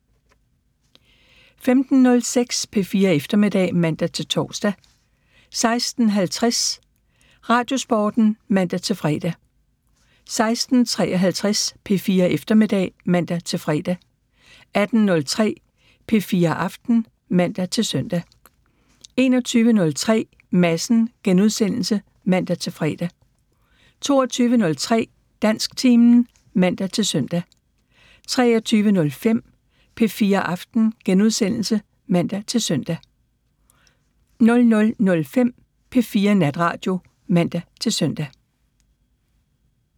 15:06: P4 Eftermiddag (man-tor) 16:50: Radiosporten (man-fre) 16:53: P4 Eftermiddag (man-fre) 18:03: P4 Aften (man-søn) 21:03: Madsen *(man-fre) 22:03: Dansktimen (man-søn) 23:05: P4 Aften *(man-søn) 00:05: P4 Natradio (man-søn)